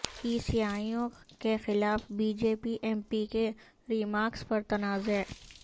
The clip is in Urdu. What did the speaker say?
عیسائیوں کیخلاف BJP MP کے ریمارکس پر تنازعہ